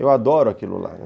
Eu adoro aquilo lá.